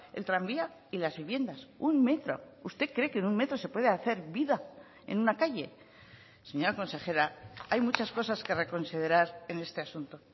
el tranvía y las viviendas un metro usted cree que en un metro se puede hacer vida en una calle señora consejera hay muchas cosas que reconsiderar en este asunto